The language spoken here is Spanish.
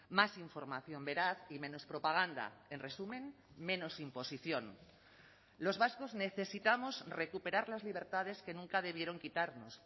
más información veraz y menos propaganda en resumen menos imposición los vascos necesitamos recuperar las libertades que nunca debieron quitarnos